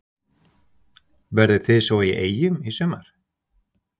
Verðið þið svo í Eyjum í sumar?